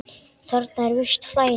Þarna er visst flæði.